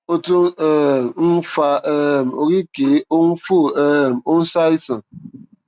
ó tún um ń fa um oríkèé ó ń fò um ó ń ṣàìsàn